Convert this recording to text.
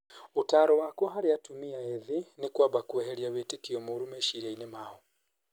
"Ũtaaro wakwa harĩ atumia ethĩ nĩ kwamba kweheria wĩtekio moru meciria-inĩ mao.